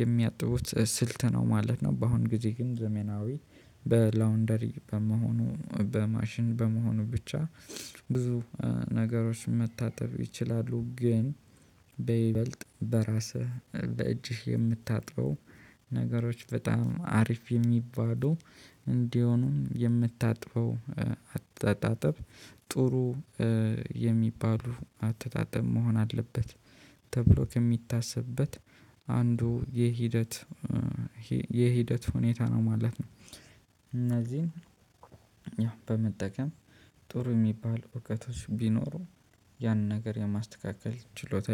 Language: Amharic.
የሚያጥቡት ስልት ነው ማለት ነው። በአሁን ጊዜ ግን ዘመናዊ በላውንደሪ በመሆኑ በማሽን በመሆኑ ብቻ ብዙ ነገሮች መታጠብ ይችላሉ ግን። በይበልጥ በራስህ በእጅህ የምታጥበው ነገሮች በጣም አሪፍ የሚባሉ እንዲሆኑም የምታጥበው አታስተጣጠብ ጥሩ የሚባሉ አተጣጣም መሆን አለበት ተብሎ ከሚታሰብበት አንዱ የሂደት የሂደት ሁኔታ ነው ማለት ነው። እነዚህን ያው በመጠቀም ጥሩ የሚባል እውቀቶች ቢኖሩ ያን ነገር የማስተካከል ችሎታ